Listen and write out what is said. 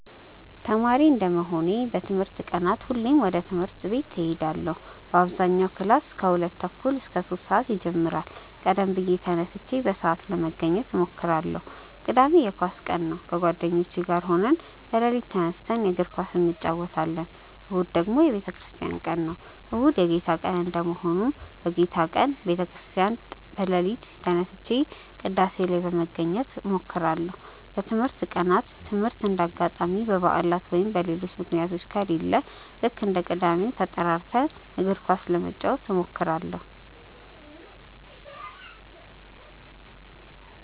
ተማሪ እንደመሆኔ በትምህርት ቀናት ሁሌም ወደ ትምህርት እሄዳለው በአብዛኛው ክላስ ከሁለት ተኩል እስከ ሶስት ሰአት ይጀምራል ቀደም ብዬ ተነስቼ በሰአት ለመገኘት እሞክራለው። ቅዳሜ የኳስ ቀን ነው ከጓደኞቼ ጋር ሆነን በሌሊት ተነስተን የእግር ኳስ እንጨወታለን። እሁድ ደግሞ የቤተክርስቲያን ቀን ነው። እሁድ የጌታ ቀን እንደመሆኑ በጌታ ቀን ወደ ቤተ ክርስቲያን በሌሊት ተነስቼ ቅዳሴ ላይ ለመገኘት እሞክራለው። በትምህርት ቀናት ትምህርት እንደ አጋጣሚ በባዕላት ወይም በሌሎች ምክንያቶች ከሌለ ልክ እንደ ቅዳሜው ተጠራርተን እግር ኳስ ለመጫወት እንሞክራለው።